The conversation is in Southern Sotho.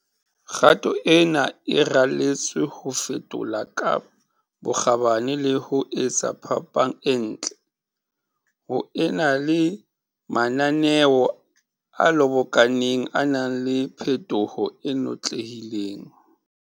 Kgato ena e raletswe ho fetola ka bokgabane le ho etsa phapang e ntle, ho e na le mananeo a lobokaneng a nang le phetoho e notlehileng.